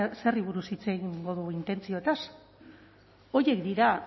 zeri buruz hitz egingo dugu intentzioez horiek dira